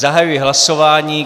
Zahajuji hlasování.